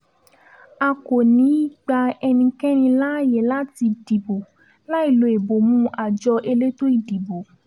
a kò ní í gba ẹnikẹ́ni láàyè láti dìbò láì lo ìbomú àjọ elétò ìdìbò